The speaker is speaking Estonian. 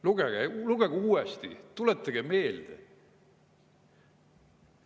Lugege, lugege uuesti, tuletage meelde!